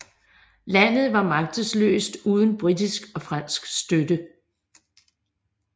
Landet var magtesløst uden britisk og fransk støtte